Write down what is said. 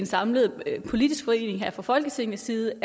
samlet og i politisk forening her fra folketingets side